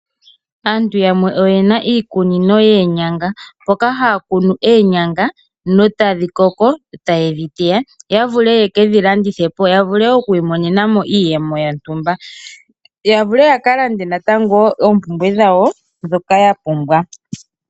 Aantu yamwe oye na iikunino yoonyanga mboka haya kunu oonyanga notadhi koko e taye dhi teya ya vule ye ke dhilandithepo ya vule okwiimonena mo iiyemo yontumba ya vule wo yaka lande oompumbwe dhawo ndhoka ya pumbwa.